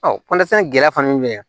gɛlɛya fana bɛ yen